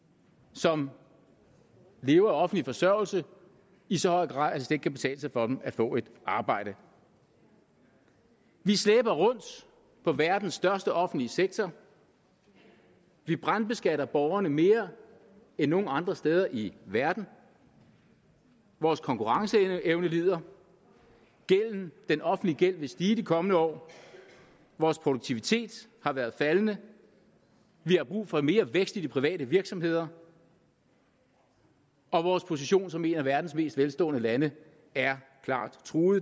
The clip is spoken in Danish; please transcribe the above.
som lever af offentlig forsørgelse i så høj grad at det kan betale sig for dem at få et arbejde vi slæber rundt på verdens største offentlige sektor vi brandbeskatter borgerne mere end nogen andre steder i verden vores konkurrenceevne lider den offentlige gæld vil stige i de kommende år vores produktivitet har været faldende vi har brug for mere vækst i de private virksomheder og vores position som et af verdens mest velstående lande er klart truet